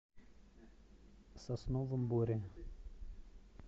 сосновом боре